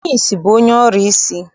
Onye ìsì bụ onye ọrụsị.